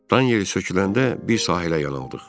Dan yeri söküləndə bir sahilə yanaldıq.